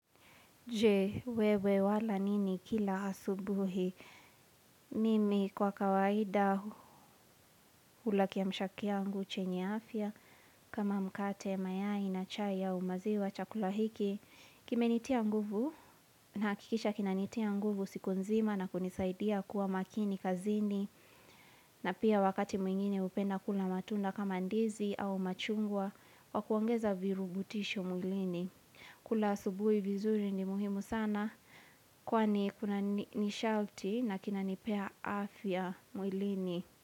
Jee, wewe wala nini kila asubuhi. Mimi kwa kawaida ula kia mshakiangu chenya afya kama mkate mayai na chai au maziwa chakula hikigl kime nitia nguvu, nakikisha kina nitia nguvu sikunzima na kunisaidia kuwa makini kazini. Na pia wakati mwingine upenda kula matunda kama ndizi au machungwa, wakuangeza virubutisho muglini. Kula subuhi vizuri ni muhimu sana kwa ni kuna nishalti na kina nipea afya mwilini.